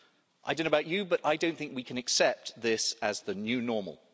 I don't know about you but I don't think we can accept this as the new normal.